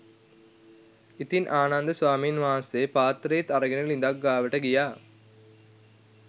ඉතින් ආනන්ද ස්වාමීන් වහන්සේ පාත්තරෙත් අරගෙන ළිඳක් ගාවට ගියා